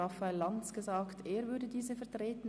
Raphael Lanz hat mir gesagt, er würde diese vertreten.